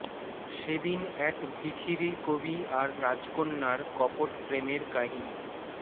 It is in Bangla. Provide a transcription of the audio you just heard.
সেদিন এক ভিখিরি কবি আর রাজকন্যার কপট প্রেমের কাহিনি